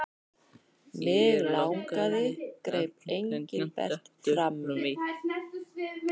Mig langaði greip Engilbert fram í.